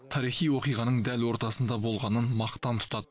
тарихи оқиғаның дәл ортасында болғанын мақтан тұтады